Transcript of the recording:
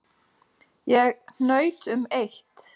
En ég hnaut um eitt.